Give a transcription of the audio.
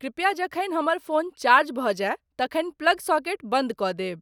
कृपया जखनि हमर फोन चार्ज भऽ जायत तखनि प्लग सॉकेट बन्द कS देब ।